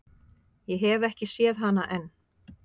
Ég hef ekki séð hana enn.